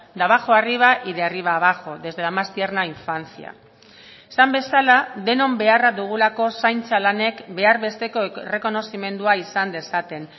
de abajo a arriba y de arriba abajo desde la más tierna infancia esan bezala denon beharra dugulako zaintza lanek behar besteko errekonozimendua izan dezaten